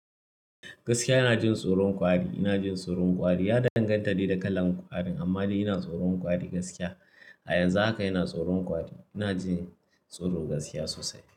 Gaskiya ina jin tsoron kwari, yana jin tsoron kwari. Ya danganta da da kalar ƙwarin amma dai yana tsoron kwari gaskiya. A yanzu haka yana tsoron kwari, yana jin tsoro gaskiya sosai.